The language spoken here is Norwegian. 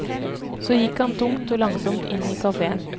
Så gikk han tungt og langsomt inn i kaféen.